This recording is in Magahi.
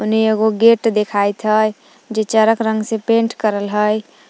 एने एगो गेट देखाइत हइ जे चेक रंग से पेंट करल हइ ।